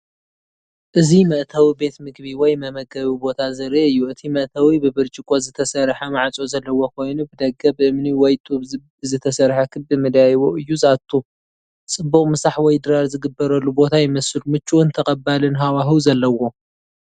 እዚ መእተዊ ቤት ምግቢ ወይ መመገቢ ቦታ ዘርኢ እዩ። እቲ መእተዊ ብብርጭቆ ዝተሰርሐ ማዕጾ ዘለዎ ኮይኑ ብደገ ብእምኒ ወይ ጡብ ብዝተሰርሐ ክቢ መደያይቦ እዩ ዝኣቱ። ጽቡቕ ምሳሕ ወይ ድራር ዝግበረሉ ቦታ ይመስል፣ ምቹእን ተቐባሊን ሃዋህው ዘለዎ።